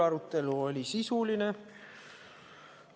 Arutelu oli sisuline.